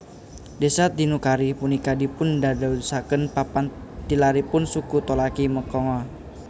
Desa Tinukari punika dipun dadosaken papan tilaripun suku Tolaki Mekongga